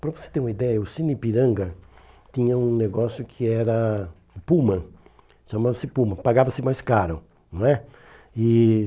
Para você ter uma ideia, o Sinipiranga tinha um negócio que era puma, chamava-se puma, pagava-se mais caro, não é. E